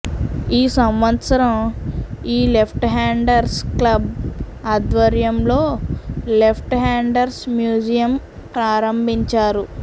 ఈ సంవత్సరం ఈ లెఫ్ట్ హ్యండర్స్ క్లబ్ ఆధ్వర్యంలో లెఫ్ట్ హ్యండర్స్ మ్యూజియం ప్రారంభించారు